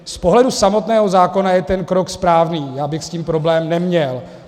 Z pohledu samotného zákona je ten krok správný, já bych s tím problém neměl.